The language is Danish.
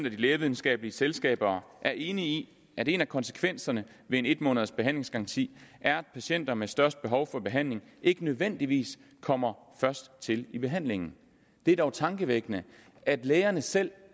af de lægevidenskabelige selskaber er enige i at en af konsekvenserne ved en en måneds behandlingsgaranti er at patienter med størst behov for behandling ikke nødvendigvis kommer først til behandling det er dog tankevækkende at lægerne selv